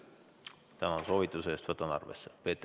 Tänan soovituse eest, võtan arvesse!